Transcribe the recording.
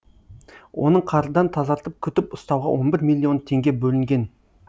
оның қардан тазартып күтіп ұстауға он бір миллион теңге бөлінген